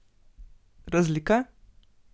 Razlika?